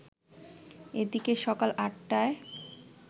এদিকে সকাল আটটায়